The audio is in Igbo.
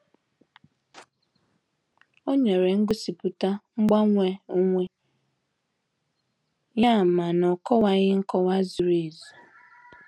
Ó nyere ngosipụta mgbanwe onwe ya, ma na ọ'kowaghi nkọwa zuru ezu.